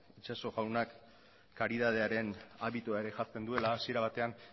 itxaso jaunak karitatearen abitua ere jartzen duela hasiera batean